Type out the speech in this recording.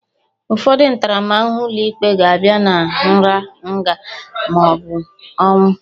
Ụfọdụ ntaramahụhụ ụlọikpe ga-abịa na nra, nga, ma ọ bụ ọnwụ